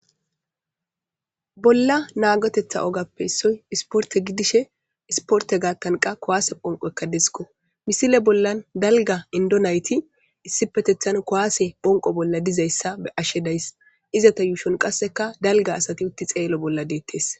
Bolla naagotetha ogappe soy isporte gidishe isporte gaattanqa kowaase phonqo ekka desko misile bollan dalga indonayti issipetethan kowaase phonqo bolla dizayssa be ashshedays izata yuushon qasseka dalga asati utti xeelo bolla deettes.